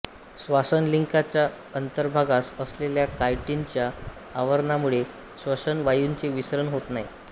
श्वासनलिकांचा अंतर्भागास असलेल्या कायटिनच्या आवरणामुळे श्वसन वायूंचे विसरण होत नाही